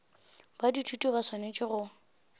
ba dithuto ba swanetše go